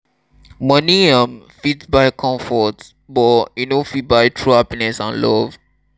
moni um fit buy comfort but e no fit buy true happiness and love